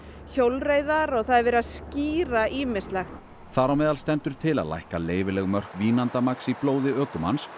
hjólreiðar og það er verið að skýra ýmislegt þar á meðal stendur til að lækka leyfileg mörk vínandamagns í blóði ökumanns